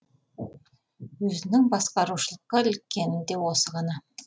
өзінің басқарушылыққа іліккені де осы ғана